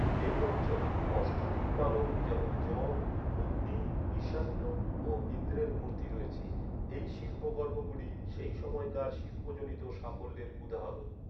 এই অঞ্চলে অষ্টদিকপালক, যেমন যম, অগ্নি, ঈশান্য ও ইন্দ্রের মূর্তি রয়েছে। এই শিল্পকর্মগুলি সেই সময়কার শিল্পজনিত সাফল্যের উদাহরণ।